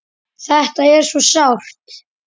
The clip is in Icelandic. Þetta er svo sárt.